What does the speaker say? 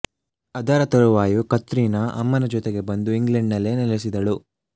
ಅದರ ತರುವಾಯ ಕತ್ರೀನಾ ಅಮ್ಮನ ಜೊತೆಗೆ ಬಂದು ಇಂಗ್ಲೆಂಡ್ ನಲ್ಲೇ ನೆಲೆಸಿದಳು